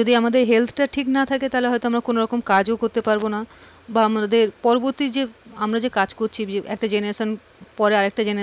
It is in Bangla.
এই যে আমার শরীর খারাপের